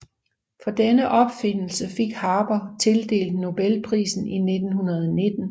For denne opfindelse fik Haber tildelt Nobelprisen i 1919